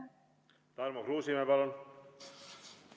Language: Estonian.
Tarmo Kruusimäe, palun!